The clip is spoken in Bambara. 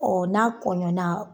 Ɔ n'a kɔɲɔnna